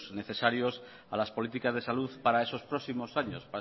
necesarios a las políticas de salud para esos próximos años